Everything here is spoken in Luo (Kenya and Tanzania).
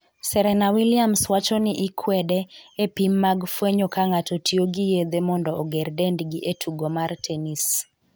Serena Williams wacho ni ‘i kwede’ e pim mag fwenyo ka ng'ato tiyo gi yedhe mondo oger dendgi e tugo mar tenis